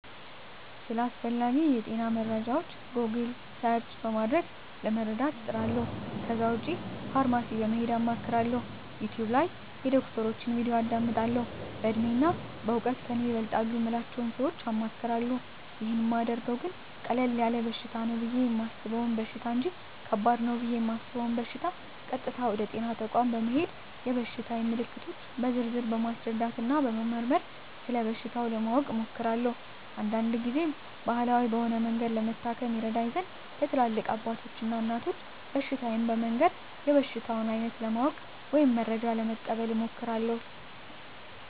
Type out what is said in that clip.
ስለ አስፈላጌ የጤና መረጃወች "ጎግል" ሰርች" በማድረግ ለመረዳት እጥራለሁ ከዛ ውጭ ፋርማሲ በመሄድ አማክራለሁ፣ "ዩቲውብ" ላይ የዶክተሮችን "ቪዲዮ" አዳምጣለሁ፣ በእድሜና በእውቀት ከኔ ይበልጣሉ ምላቸውን ሰወች አማክራለሁ። ይህን ማደርገው ግን ቀለል ያለ በሽታ ነው ብየ የማሰበውን በሽታ እንጅ ከባድ ነው ብየ እማስበውን በሸታ ቀጥታ ወደ ጤና ተቋም በመሄድ የበሽታየን ምልክቶች በዝርዝር በማስረዳትና በመመርመር ስለበሽታው ለማወቅ እሞክራለሁ። አንዳንድ ግዜም ባህላዊ በሆነ መንገድ ለመታከም ይረዳኝ ዘንድ ለትላልቅ አባቶች እና እናቶች በሽታየን በመንገር የበሽታውን አይነት ለማወቅ ወይም መረጃ ለመቀበል እሞክራለሁ።